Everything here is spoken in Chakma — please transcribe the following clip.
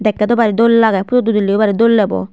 dekte dw bari dol lage photo udili o bari dol debo.